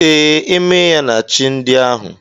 Ee, emeyaa na chi ndị ahụ.